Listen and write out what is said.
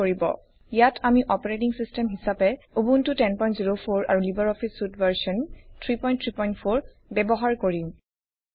ইয়াত আমি operating system হিচাপে উবুন্টু 1004 আৰু লিবাৰ অফিচ চুইট ভাৰ্চন 334 ব্যৱহাৰ কৰিম